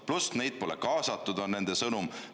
Pluss neid pole kaasatud, nagu on nende sõnum.